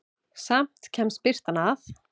Samt kemst birtan að.